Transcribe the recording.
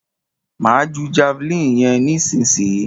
Máa ju javeline yẹn nísìyí.